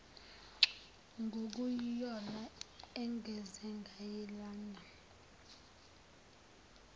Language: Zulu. nokuyiyona engenze nganilanda